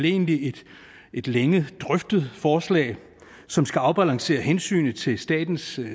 egentlig et længe drøftet forslag som skal afbalancere hensynet til statens